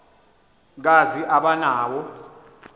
kazi aba nawo